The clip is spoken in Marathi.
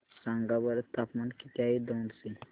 सांगा बरं तापमान किती आहे दौंड चे